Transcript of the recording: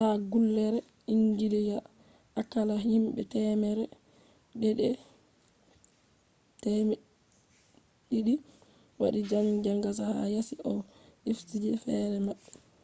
ha gallure engila akalla hinbe temere deidi 200 wadi zangazangz ha yasi ha ofisije fere mabbe